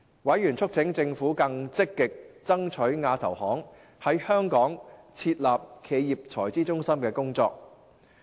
委員促請政府更積極爭取亞投行在香港設立企業財資中心的工作。